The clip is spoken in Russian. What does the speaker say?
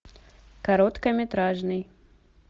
короткометражный